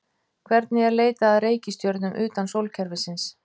Hvernig er leitað að reikistjörnum utan sólkerfisins?